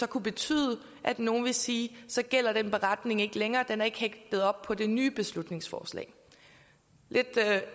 kunne betyde at nogle ville sige så gælder den beretning ikke længere for den er ikke hægtet op på det nye beslutningsforslag det er